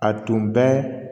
A tun bɛ